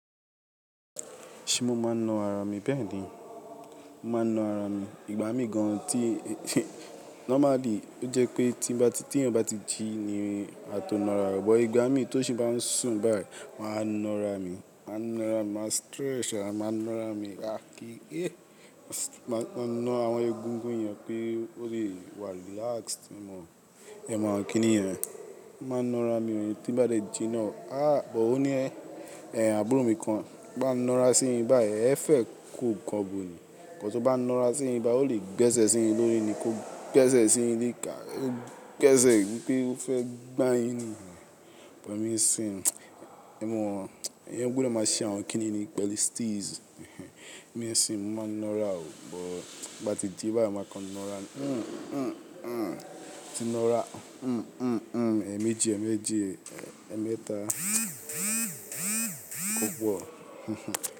Ṣé mo máa ń na ara mi bẹ́ẹ̀ ni? Mo máa ń na ara mi. Ìgbà mí gan an tí normally ó jẹ́ pé tí bá ti tí èèyàn bá ti jí ni a tó na ara wa, bọ̀ ìgbà mí tó ti bá ń sùn báyìí, màá na ara mi, màá na ara mi, màá stretch à màá na ara mi. Rárá kí, máa na àwọn egungun yẹn pé ó lè wà relaxed. Ẹ̀ mọ̀ ọ́n kíni yẹn? Ma na ara mi, tí n bá ṣe jí náà. Àh! Bọ̀ ó ní ẹ, àbúrò mi kan, bá ń na ara sí i báyìí, ẹ fẹ́ kó nǹkan bo ni? Ẹ̀ ka to bá na ara sí i ni, bá ó lè gbẹ́sẹ̀ sí i lórí ni kó gbẹ́sẹ̀ sí i líìká, ó gbẹ́sẹ̀ pé ó fẹ́ gbá yín ni. Ẹ̀ mọ̀ ọ́n, ẹ́ gbọ́dọ̀ máa ṣe àwọn kíni ni pẹ̀lú steeze. Mi ò sí, mo máa ń na ara o, bọ̀ bá ti ji báyìí, màá kan na ara. Hmm, hmm, hmm. Ti na ara, hmm, hmm, hmm. Ẹ̀ méjì, ẹ̀ méjì, ẹ́ mẹ́ta. Kókó.